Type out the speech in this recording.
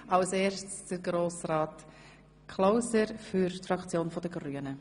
Als erster Sprecher hat Grossrat Klauser für die grüne Fraktion das Wort.